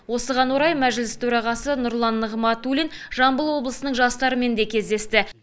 осыған орай мәжіліс төрағасы нұрлан нығматулин жамбыл облысының жастарымен де кездесті